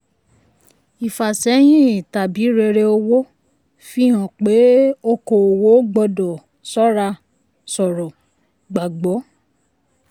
ìfàsẹ́yín tàbí rere owó fi hàn pé okòowò gbọ́dọ̀ ṣọ́ra ṣòro gbagbọ.